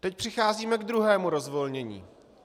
Teď přicházíme k druhému rozvolnění.